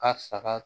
A saga